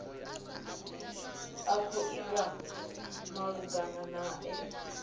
a khou itwa malugana nae